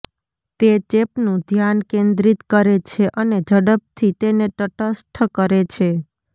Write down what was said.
તે ચેપનું ધ્યાન કેન્દ્રિત કરે છે અને ઝડપથી તેને તટસ્થ કરે છે